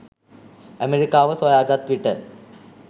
ඇමරිකාව සොයාගත් විට